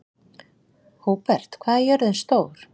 Húbert, hvað er jörðin stór?